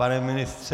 Pane ministře...